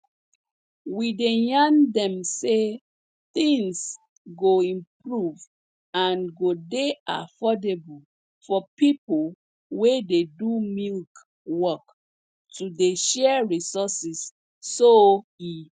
we dey yarn dem say tins go improve and go dey affordable for pipo wey dey do milk work to dey share resources so e